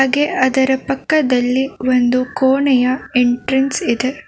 ಹಾಗೆ ಅದರ ಪಕ್ಕದಲ್ಲಿ ಒಂದು ಕೊಣೆಯ ಎಂಟ್ರೆನ್ಸ್ ಇದೆ.